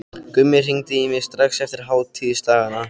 Gummi hringdi í mig strax eftir hátíðisdagana.